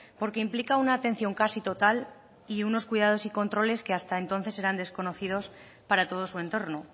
porque implica una atención casi total y unos cuidados y controles que hasta entonces eran desconocidos para todo su entorno